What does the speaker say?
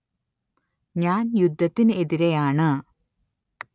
ഞാൻ യുദ്ധത്തിനെതിരെയാണ്